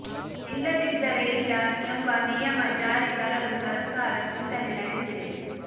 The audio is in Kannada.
ಇಲ್ಲದಿದ್ದರೆ ಇಲ್ಲ ಎಂಬ ನಿಯಮ ಜಾರಿ ತರಲು ಸರಕಾರ ಚಿಂತನೆ ನಡೆಸಿದೆ